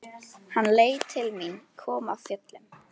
Hann leit til mín, kom af fjöllum.